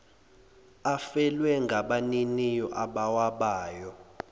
afelwe ngabaniniwo abawabayo